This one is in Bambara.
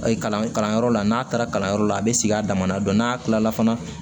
Kalan kalanyɔrɔ la n'a taara kalanyɔrɔ la a be sigi a dama na dɔn n'a kilala